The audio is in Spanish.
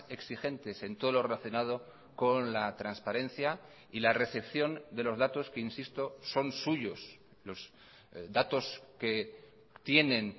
exigentes en todo lo relacionado con la transparencia y la recepción de los datos que insisto son suyos los datos que tienen